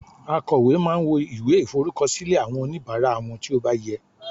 akowe ma n wo iwe iforukọsilẹ awọn onibara won ti o ba yẹ